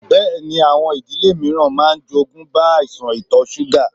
Bẹẹni, àwọn ìdílé mìíràn máa ń jogúnbá àìsàn ito súgà.